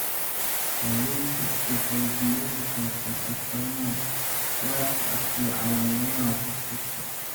Daaweyntu waxay diiradda saartaa astaamaha gaarka ah iyo calaamadaha qof kasta.